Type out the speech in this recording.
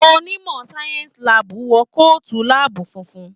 Onimọ sáyẹnsì láàbù wọ kootu láàbù fúnfún.